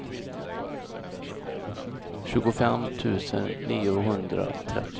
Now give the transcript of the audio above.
tjugofem tusen niohundratrettio